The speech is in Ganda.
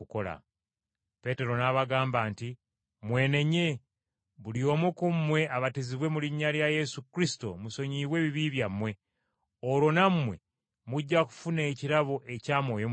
Peetero n’abagamba nti, “Mwenenye, buli omu ku mmwe abatizibwe mu linnya lya Yesu Kristo musonyiyibwe ebibi byammwe, olwo nammwe mujja kufuna ekirabo ekya Mwoyo Mutukuvu.